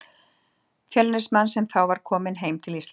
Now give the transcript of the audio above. Fjölnismann, sem þá var kominn heim til Íslands.